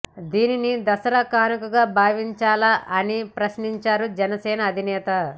దీనిని దసరా కానుకగా భావించాలా అని ప్రశ్నించారు జనసేన అధినేత